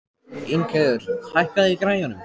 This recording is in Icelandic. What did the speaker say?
Ingheiður, hækkaðu í græjunum.